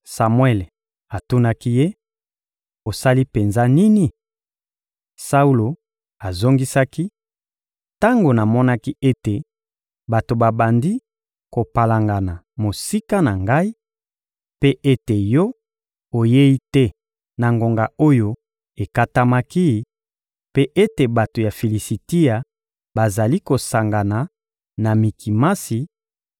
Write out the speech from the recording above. Samuele atunaki ye: — Osali penza nini? Saulo azongisaki: — Tango namonaki ete bato babandi kopalangana mosika na ngai, mpe ete yo oyei te na ngonga oyo ekatamaki, mpe ete bato ya Filisitia bazali kosangana na Mikimasi,